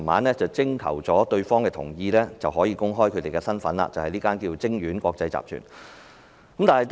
所以，當局徵得生產商同意後才公開其身份，即晶苑國際集團。